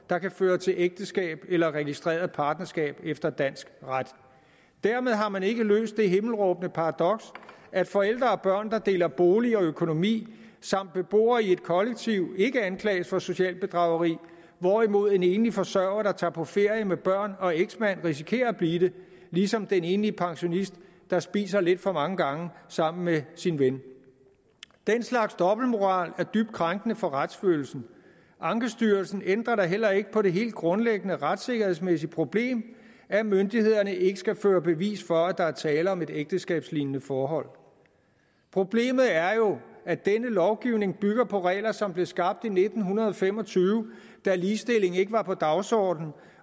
der kan føre til ægteskab eller registreret partnerskab efter dansk ret dermed har man ikke løst det himmelråbende paradoks at forældre og børn der deler bolig og økonomi samt beboere i et kollektiv ikke anklages for socialt bedrageri hvorimod en enlig forsørger der tager på ferie med børn og eksmand risikerer at blive det ligesom den enlige pensionist der spiser lidt for mange gange sammen med sin ven den slags dobbeltmoral er dybt krænkende for retsfølelsen ankestyrelsen ændrer da heller ikke på det helt grundlæggende retssikkerhedsmæssige problem at myndighederne ikke skal føre bevis for at der er tale om et ægteskabslignende forhold problemet er jo at denne lovgivning bygger på regler som blev skabt i nitten fem og tyve da ligestilling ikke var på dagsordenen